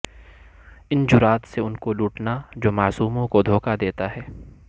ان جرات سے ان کو لوٹنا جو معصوموں کو دھوکہ دیتا ہے